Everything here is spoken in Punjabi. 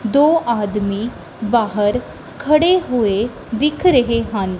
ਦੋ ਆਦਮੀ ਬਾਹਰ ਖੜੇ ਹੋਏ ਦਿਖ ਰਹੇ ਹਨ।